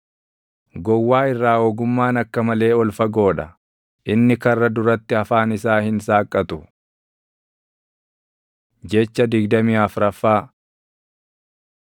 Gowwaa irraa ogummaan akka malee ol fagoo dha; inni karra duratti afaan isaa hin saaqqatu. Jecha digdamii afraffaa